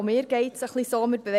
Auch mir geht es ein wenig so.